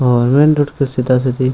और main road के सीधा-सीधी --